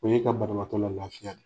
O ye ka banabaatɔ la lafiya de .